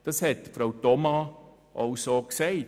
Frau Thoma hat dies auch so gesagt: